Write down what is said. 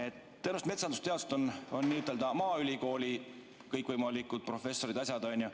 Tõenäoliselt metsandusteadlased on maaülikooli kõikvõimalikud professorid, on ju.